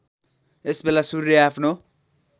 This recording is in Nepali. यसबेला सूर्य आफ्नो